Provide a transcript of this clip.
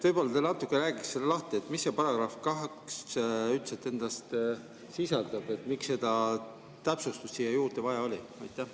Võib-olla te natuke räägite lahti, mida see § 2 üldse endas sisaldab, miks seda täpsustust siia vaja oli?